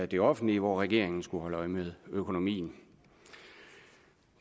det offentlige hvor regeringen skal holde øje med økonomien